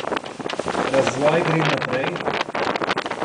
Razvoj gre naprej?